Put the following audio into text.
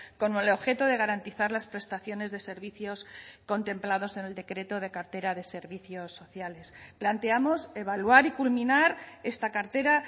con el objeto de garantizar las prestaciones de servicios contemplados en el decreto de cartera de servicios sociales planteamos evaluar y culminar esta cartera